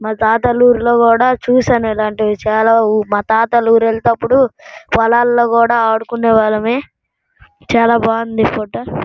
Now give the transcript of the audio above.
మా తాతగారి ఊరిలో కూడా చూశాను ఇలాటివి చాలా. మా తాతగారి ఊరు వెళ్ళేటప్పుడు పొలాలలో ఆడుకునే వాళ్ళమే. ఊరు వెళ్లేటప్పుడు చాలా బాగున్నది ఫోటో .